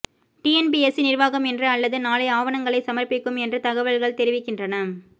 TNPSC நிர்வாகம் இன்று அல்லது நாளை ஆவணங்களை சமர்ப்பிக்கும் என்று தகவல்கள் தெரிவிக்கின்றன